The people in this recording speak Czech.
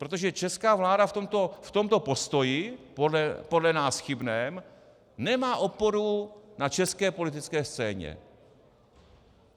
Protože česká vláda v tomto postoji, podle nás chybném, nemá oporu na české politické scéně.